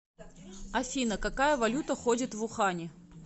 афина какая валюта ходит в ухане